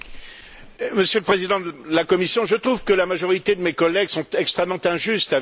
Monsieur le Président de la Commission, je trouve que la majorité de mes collègues sont extrêmement injustes avec vous.